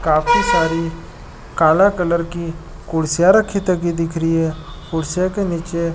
काफी सारी काले कलर की कुर्सियां रखी दिख रही है कुर्सियां के नीचे --